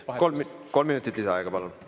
Kolm minutit lisaaega, palun!